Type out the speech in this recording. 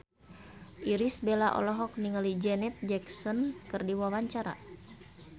Irish Bella olohok ningali Janet Jackson keur diwawancara